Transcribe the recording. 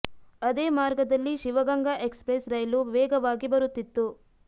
ಅದೇ ಮಾರ್ಗದಲ್ಲಿ Shiva Ganga express ರೈಲು ವೇಗವಾಗಿ ಬರುತ್ತಿತ್ತು